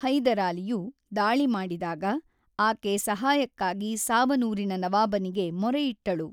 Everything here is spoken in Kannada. ಹೈದರಾಲಿಯು ದಾಳಿ ಮಾಡಿದಾಗ ಆಕೆ ಸಹಾಯಕ್ಕಾಗಿ ಸಾವನೂರಿನ ನವಾಬನಿಗೆ ಮೊರೆಯಿಟ್ಟಳು.